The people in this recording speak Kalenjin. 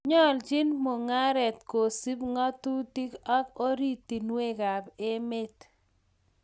Nyoljin mungaret kosub ng'atutik ak ortinuekab emet